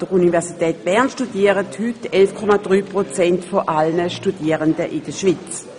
An der Universität Bern studieren heute 11,3 Prozent aller Studierenden in der Schweiz.